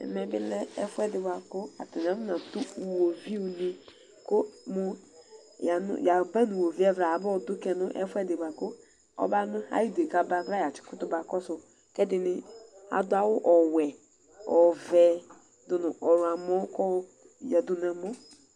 Ɛvɛ bɩ lɛ ɛfʋɛdɩ bʋakʋ atanɩ afɔnatʋ iwoviʋ nɩ, kʋ mʋ yaba nʋ iwoviʋ ɛvla, abayɔdʋ kayɛ nʋ ɛfʋɛdɩ bʋakʋ ɔbanʋ Ayʋ ɩdʋ yɛ kʋ aba ɛvla ya kʋtʋ bakɔsʋ Kʋ ɛdɩnɩ adʋ awʋ ɔvɛ, ɔwɛ, ɔɣlɔmɔ kʋ ayoyǝdʋ nʋ ɛmɔ